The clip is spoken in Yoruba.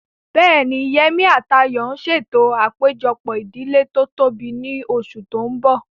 Bẹ́ẹ̀ni, Yemí àti Ayọ̀ ń ṣètò àpéjọpọ̀ ìdílé tó tóbi ní oṣù tó mbọ̀